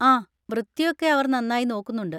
ആ, വൃത്തിയൊക്കെ അവർ നന്നായി നോക്കുന്നുണ്ട്.